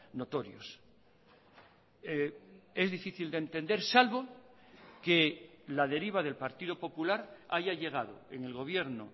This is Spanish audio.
notorios es difícil de entender salvo que la deriva del partido popular haya llegado en el gobierno